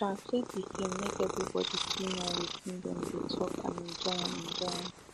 dem translate the film make everyone fit know watin dem dey talk and enjoy and enjoy am